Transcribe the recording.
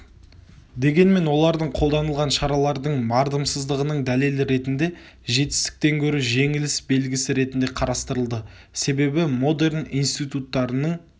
дегенмен олар қолданылған шаралардың мардымсыздығының дәлелі ретінде жетістіктен гөрі жеңіліс белгісі ретінде қарастырылды себебі модерн институттарының